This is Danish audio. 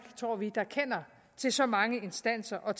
tror vi der kender til så mange instanser og